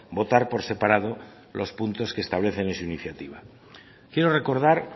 votar por separado los puntos que establecen en su iniciativa quiero recordar